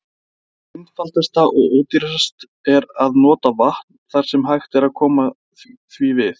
Einfaldast og ódýrast er að nota vatn þar sem hægt er að koma því við.